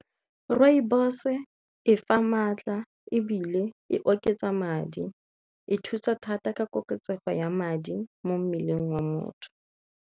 Rooibos-e e fa maatla ebile e oketsa madi, e thusa thata ka koketsego ya madi mo mmeleng wa motho.